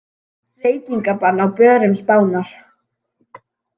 Reykingabann á börum Spánar